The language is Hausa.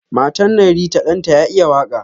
Matan nan Rita Dan ta ya iya waka.